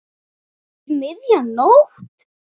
Um miðja nótt.